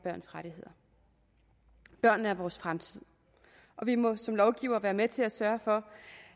børns rettigheder børnene er vores fremtid og vi må som lovgivere være med til at sørge for